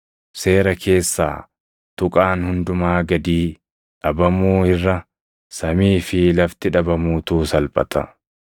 Seera keessaa tuqaan hundumaa gadii dhabamuu irra samii fi lafti dhabamuutu salphata.